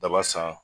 Daba san